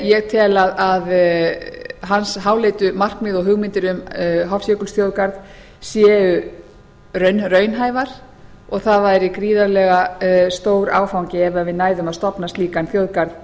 ég tel að hans háleitu markmið og hugmyndir um hofsjökulsþjóðgarð séu raunhæfar og það væri gríðarlega stór áfangi ef við næðum að stofna slíkan þjóðgarð